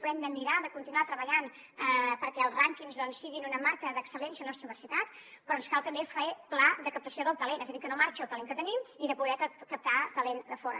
hem de mirar de continuar treballant perquè els rànquings doncs siguin una marca d’excel·lència de la nostra universitat però ens cal també fer un pla de captació del talent és a dir que no marxi el talent que tenim i poder captar talent de fora